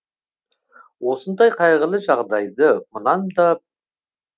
осындай қайғылы жағдайды мұнан да